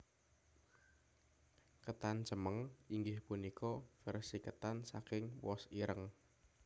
Ketan cemeng inggih punika versi ketan saking wos ireng